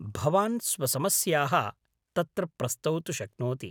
भवान् स्वसमस्याः तत्र प्रस्तौतु शक्नोति।